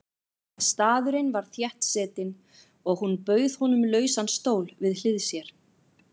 Staðurinn var þéttsetinn og hún bauð honum lausan stól við hlið sér.